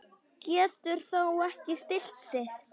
Getur þó ekki stillt sig.